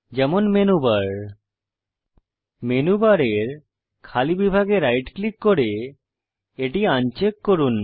যেমন menu bar menu bar এর খালি বিভাগে রাইট ক্লিক করে এটি আনচেক করুন